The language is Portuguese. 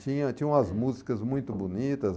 Tinha, tinha umas músicas muito bonitas.